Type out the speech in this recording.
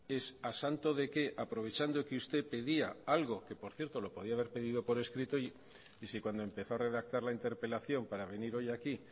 es a santo de qué aprovechando que usted pedía algo que por cierto lo podía haber pedido por escrito y si cuando empezó a redactar la interpelación para venir hoy aquí